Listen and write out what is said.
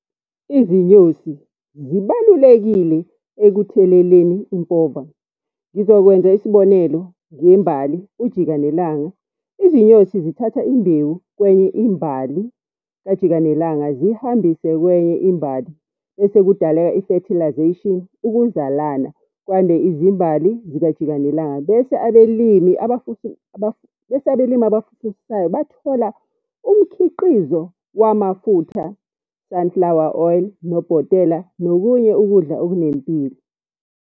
Izinyosi zibalulekile ekutheleleni impova. Ngizokwenza isibonelo ngembali, ujikanelanga, izinyosi zithatha imbewu kwenye imbali, kajika nelanga zihambise kwenye imbali. Bese kudaleka ifethilazeyshini, ukuzalana, kwande izimbali zika jikanelanga. Bese abelimi bese abelimi abafufusayo bathola umkhiqizo wamafutha, sunflower oil, nobhotela, nokunye ukudla okunempilo.